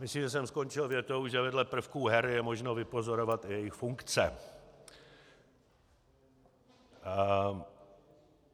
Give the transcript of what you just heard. Myslím, že jsem skončil větou, že vedle prvků her je možno vypozorovat i jejich funkce.